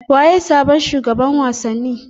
Waye sabon shugaban wasanni